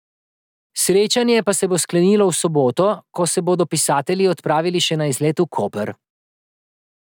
Srečanje pa se bo sklenilo v soboto, ko se bodo pisatelji odpravili še na izlet v Koper.